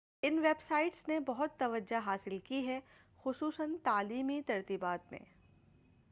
ان web sites نے بہت توجہ حاصل کی ہے خصوصاً تعلیمی ترتیبات میں